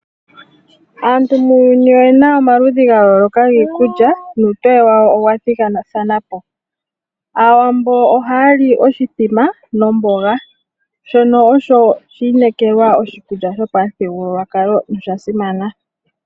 Aantu muuyuni oyena omaludhi ga yooloka giikulya nuutoye wayo owa thigathana po. Awaambo ohaya li oshithima nomboga, shono osho shiineekelwa oshikulya shopamuthigululwakalo nosha simana.